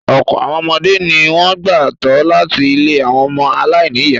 Ọ̀pọ̀ àwọn ọmọdé ni wọ́n gbà tọ́ láti ilé àwọn ọmọ aláìníìyá.